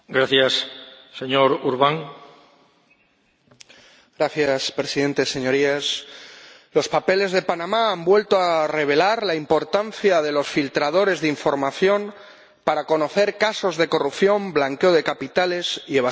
Señor Presidente, Señorías, los papeles de Panamá han vuelto a revelar la importancia de los filtradores de información para conocer casos de corrupción, blanqueo de capitales y evasión fiscal.